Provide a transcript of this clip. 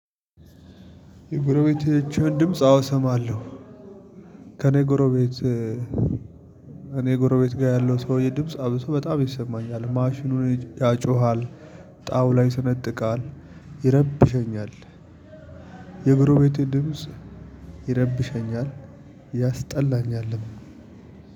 የጎረቤቶችህን ድምጽ አዎ ሰማለሁ። ከእኔ ጎረቤት ጎረቤት ጋር ያለው ሰውዬ ድምጽ አብሶ በጣም ይሰማኛል። ማሽኑን ያጮሃል። ጣውላ ይስነጥቃል ይረብሸኛል። የጎረቤቴ ድምጽ ይረብሸኛል ያስጠላኛልም።